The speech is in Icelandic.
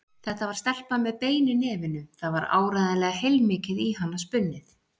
Þetta var stelpa með bein í nefinu, það var áreiðanlega heilmikið í hana spunnið.